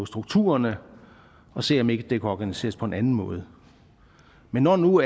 strukturerne og se om ikke det kan organiseres på en anden måde men når nu